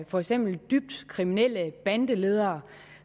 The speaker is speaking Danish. for eksempel dybt kriminelle bandeledere